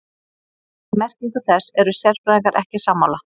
Um merkingu þess eru sérfræðingar ekki sammála.